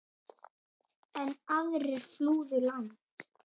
Enn aðrir flúðu land.